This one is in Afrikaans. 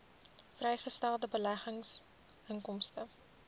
vrygestelde beleggingsinkomste